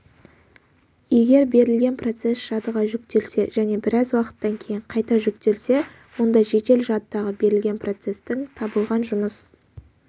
егер берілген процесс жадыға жүктелсе және біраз уақыттан кейін қайта жүктелсе онда жедел жадыдағы берілген процестің табылған жұмыс